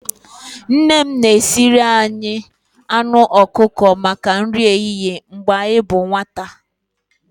Nne m na-esiri anyị anụ ọkụkọ maka nri ehihie mgbe anyị bụ nwata.